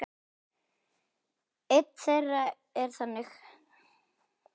Ein þeirra er þannig